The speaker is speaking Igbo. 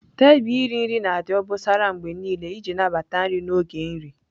Tebụl iri nri na-adị obosara mgbe niile iji nabata nri n'oge nri.